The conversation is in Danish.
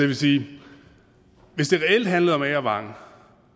vil sige at hvis det reelt handlede om agervang